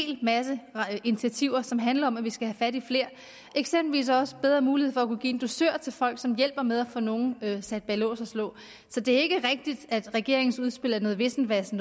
masse initiativer som handler om at vi skal have fat i flere og eksempelvis også have bedre mulighed for at kunne give en dusør til folk som hjælper med at få nogen sat bag lås og slå så det er ikke rigtigt at regeringens udspil er noget vissevasse